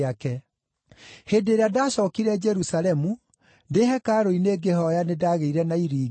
“Hĩndĩ ĩrĩa ndaacookire Jerusalemu, ndĩ hekarũ-inĩ ngĩhooya nĩndagĩire na iringi,